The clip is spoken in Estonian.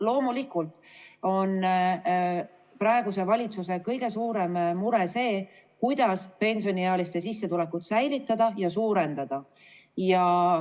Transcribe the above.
Loomulikult on praeguse valitsuse kõige suurem mure see, kuidas pensioniealiste sissetulekut säilitada ja suurendada.